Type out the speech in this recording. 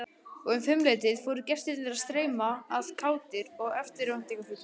Og um fimmleytið fóru gestirnir að streyma að, kátir og eftirvæntingarfullir.